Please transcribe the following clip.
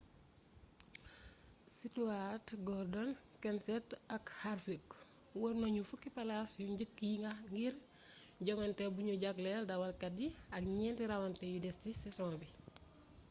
stewart gordon kenseth ak harvick wër nañu fukki palaas yu njëkk yi ngir jongante buñu jagleel dawalkat yi ak ñeenti rawante yu des ci saison bi